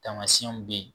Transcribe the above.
Taamasiyɛnw bɛ ye